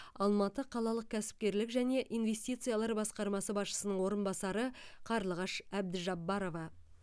алматы қалалық кәсіпкерлік және инвестициялар басқарма басшысының орынбасары қарлығаш әбдіжаббарова